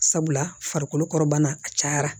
Sabula farikolo kɔrɔbana a cayara